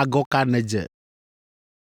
Agɔ ka nèdze?”